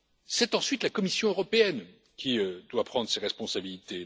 C'est ensuite la Commission européenne qui doit prendre ses responsabilités.